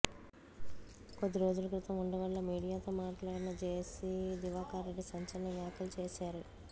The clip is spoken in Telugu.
కొద్దిరోజుల క్రితం ఉండవల్లిలో మీడియాతో మాట్లాడిన జేసీ దివాకర్రెడ్డి సంచలన వ్యాఖ్యలు చేశారు